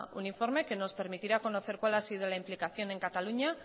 un informe que nos permitirá conocer cuál ha sido la implicación en cataluña